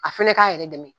A fɛnɛ k'an yɛrɛ dɛmɛ